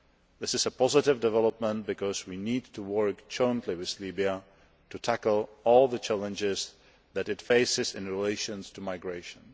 This is a positive development because we need to work jointly with Libya to tackle all the challenges that it faces in relation to migration.